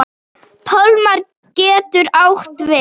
Pálmar getur átt við